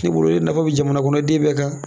Ne bolo e nafa bɛ jamanaden bɛɛ kan